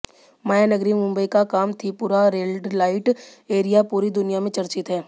मायानगरी मुंबई का Kamathipura red light area पूरी दुनिया में चर्चित है